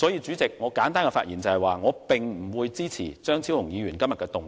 主席，我簡短發言，就是要表明不支持張超雄議員動議的議案。